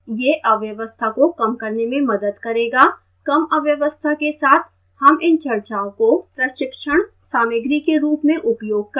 यह अव्यवस्था को कम करने में मदद करेगा कम अव्यवस्था के साथ हम इन चर्चाओं को प्रशिक्षण सामग्री के रूप में उपयोग कर सकते हैं